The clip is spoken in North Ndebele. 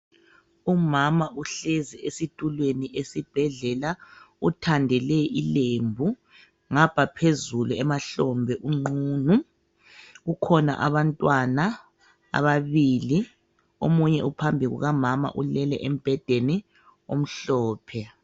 Umama uhlezi esitulweni esibhedlela uthandele ilembu ngapha phezulu emahlombe unqunu kukhona abantwana ababili omunye uphambi kuka mama ulele embedeni omhlophe.